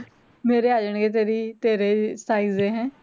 ਮੇਰੇ ਆ ਜਾਣਗੇ ਤੇਰੇ ਤੇਰੀ ਤੇਰੇ size ਦੇ